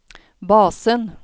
basen